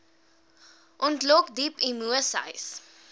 ontlok diep emoseis